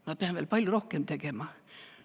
Ma pean veel palju rohkem tegema.